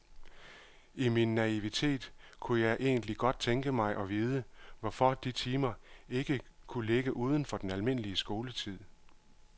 I min naivitet kunne jeg egentlig godt tænke mig at vide, hvorfor de timer ikke kunne ligge uden for den almindelige skoletid.